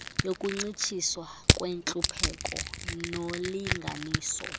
yokuncitshiswa kwentlupheko nolinganiso